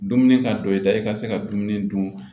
Dumuni ka don i da i ka se ka dumuni dun